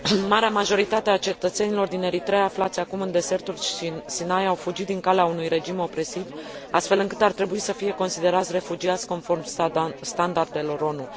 Marea majoritate a cetățenilor din Eritreea aflați acum în deșertul Sinai au fugit din calea unui regim opresiv, astfel încât ar trebui să fie considerați refugiați conform standardelor ONU.